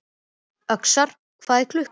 Öxar, hvað er klukkan?